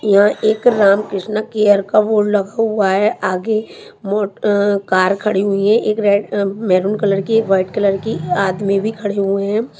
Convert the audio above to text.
यहां एक रामकृष्ण केयर का बोर्ड हुआ है आगे मोट अं कार खड़ी हुई है एक रेड अं मैरून कलर की व्हाइट कलर की आदमी भी खड़े हुए हैं।